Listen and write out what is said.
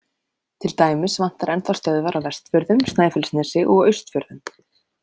Til dæmis vantar enn þá stöðvar á Vestfjörðum, Snæfellsnesi og Austfjörðum.